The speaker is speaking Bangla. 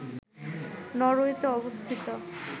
নরওয়েতে অবস্থিত